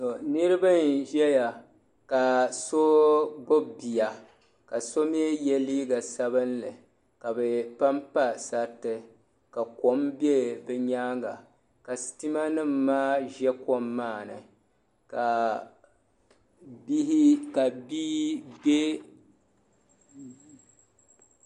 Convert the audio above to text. Niriba n-zaya ka so gbibi bia ka so mi ye liiga sabilinli ka bɛ pampa sariti ka kom be bɛ nyaaŋga ka sitimanima maa za kom maa ni.